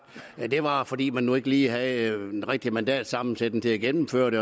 at det var fordi man nu ikke lige havde den rigtige mandatsammensætning til at gennemføre det